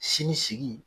Sini sigi